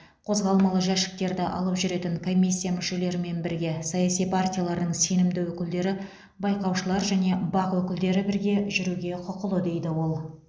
қозғалмалы жәшіктерді алып жүретін комиссия мүшелерімен бірге саяси партиялардың сенімді өкілдері байқаушылар және бақ өкілдері бірге жүруге құқылы дейді ол